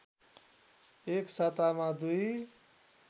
एक सातामा दुई